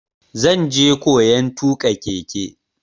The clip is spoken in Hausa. Zan je koyan tuƙa keke.